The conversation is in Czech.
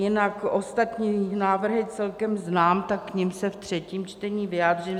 Jinak ostatní návrhy celkem znám, tak k nim se ve třetím čtení vyjádřím.